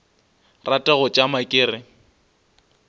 rate go tšama ke re